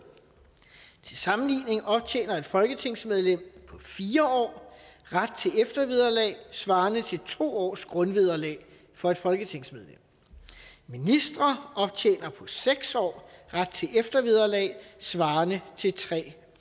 til sammenligning optjener et folketingsmedlem på fire år ret til eftervederlag svarende til to års grundvederlag for et folketingsmedlem ministre optjener på seks år ret til eftervederlag svarende til tre